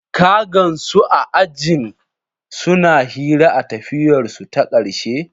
Ka gansu a ajin suna hira a tafiyarsu ta ƙarshe?